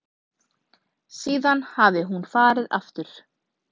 Síðan hafi hún farið aftur.